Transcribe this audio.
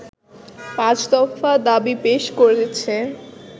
পাঁচ দফা দাবি পেশ করেছে